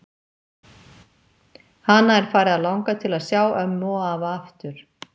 Hana er farið að langa til að sjá ömmu og afa aftur.